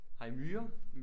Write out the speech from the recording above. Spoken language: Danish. Har i myrer?